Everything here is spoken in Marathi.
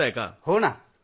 मोदीजीः हा राम नमस्ते